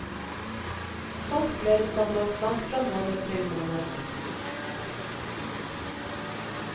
Folks levestandard sank fra måned til måned.